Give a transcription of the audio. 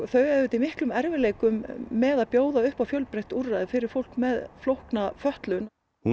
þau eiga auðvitað í miklum erfiðleikum með að bjóða upp á fjölbreytt úrræði fyrir fólk með flókna fötlun hún